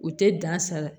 U tɛ dan sala